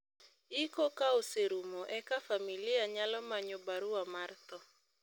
iko ka oserumo eka familia nyalo manyo barua mar tho